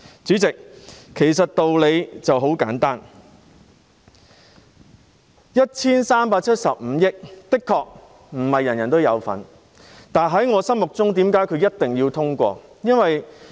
主席，道理其實很簡單，這 1,375 億元的確不是人人有份，但為何我認為一定要通過呢？